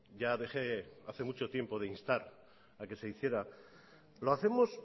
ya dejé hace mucho tiempo de instar a que se hiciera lo hacemos